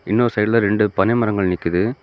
இன்னொரு சைடுல ரெண்டு பனை மரங்கள் நிக்குது.